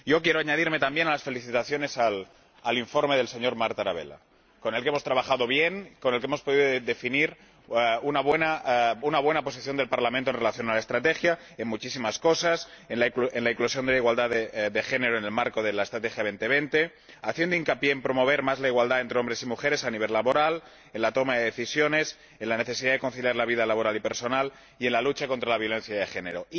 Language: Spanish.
Quiero sumarme a las felicitaciones al informe del señor Tarabella, con el que hemos trabajado bien y con el que hemos podido definir una buena posición del Parlamento en relación con la estrategia en muchísimas cosas en la eclosión de la igualdad de género en el marco de la Estrategia Europa 2020, haciendo hincapié en promover más la igualdad entre hombres y mujeres a nivel laboral, en la toma de decisiones, en la necesidad de conciliar la vida laboral y personal, y en la lucha contra la violencia de género.